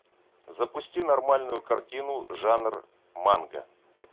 запусти нормальную картину жанр манга